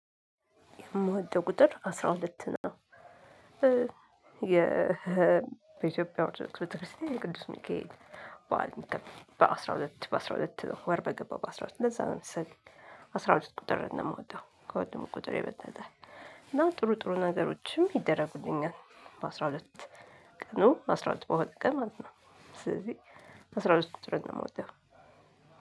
የምወደው ቁጥር አስራ ሁለት ነው። የ በኢትዮጵያ ኦርቶዶክስ ቤተክርስቲያን የቅዱስ ሚካኤል በዓል የሚከበር በአስራ ሁለት በአስራ ሁለት ወር በገባ በአስራ ሁለት ለዛ መሰለኝ። አስራ ሁለት ቁጥርን ነው የምወደው ከሁሉም ቁጥር የበለጠ እና ጥሩ ጥሩ ነገሮችም ይደረጉልኛል። በአስራ ሁለት ቀኑ አስራ ሁለት በሆነ ቀን ማለት ነው። ስለዚህ አስራ ሁለት ቁጥርን ነው የምወደው።